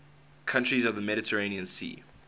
countries of the mediterranean sea